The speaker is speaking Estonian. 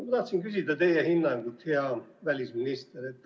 Ma tahtsin küsida teie hinnangut, hea välisminister.